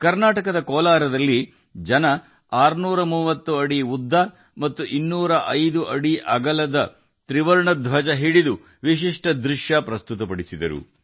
ಕರ್ನಾಟಕದ ಕೋಲಾರದಲ್ಲಿ ಜನರು 630 ಅಡಿ ಉದ್ದ ಮತ್ತು 205 ಅಡಿ ಅಗಲದ ತ್ರಿವರ್ಣ ಧ್ವಜವನ್ನು ಹಿಡಿದು ವಿಶಿಷ್ಟ ದೃಶ್ಯವನ್ನು ಪ್ರಸ್ತುತಪಡಿಸಿದರು